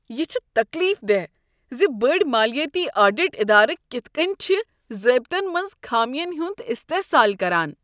یہ چھ تکلیف دہ زِ چھ بٔڑۍ مالیٲتی آڈٹ ادارٕ کتھ کٔنۍ چھِ ضٲبطن منٛز خامین ہنٛد استحصال کران۔